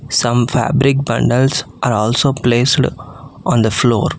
Some fabric bundles are also placed on the floor.